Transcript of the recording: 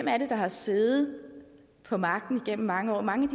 er der har siddet på magten igennem mange år mange